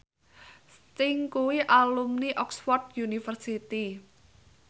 Sting kuwi alumni Oxford university